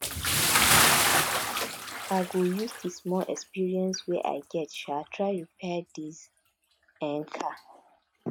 i go use di small experience wey i get um try repair dis um car